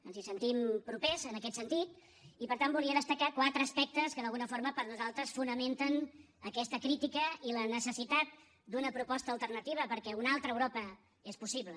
ens hi sentim propers en aquest sentit i per tant volia destacar quatre aspectes que d’alguna forma per nosaltres fonamenten aquesta critica i la necessitat d’una proposta alternativa perquè una altra europa és possible